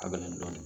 Kabini